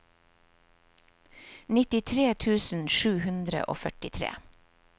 nittitre tusen sju hundre og førtitre